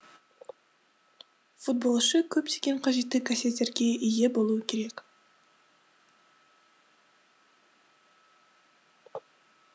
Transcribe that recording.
футболшы көптеген қажетті қасиеттерге ие болуы керек